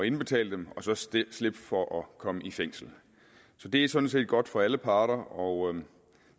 indbetale dem og så slippe for at komme i fængsel så det er sådan set godt for alle parter og